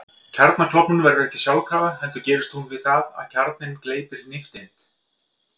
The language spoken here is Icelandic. Kjarnaklofnun verður ekki sjálfkrafa heldur gerist hún við það að kjarninn gleypir nifteind.